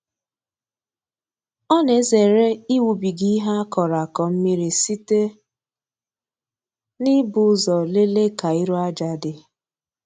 Ọ na-ezere ịwụbiga ihe a kọrọ akọ mmiri site n'ibu ụzọ lelee ka iru aja dị.